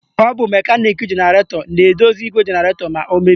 Ọ bụ mekaniki jenaratọ na-edozi igwe jenaratọ ma o mebie.